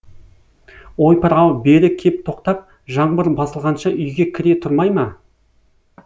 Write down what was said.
ойпыр ау бері кеп тоқтап жаңбыр басылғанша үйге кіре тұрмай ма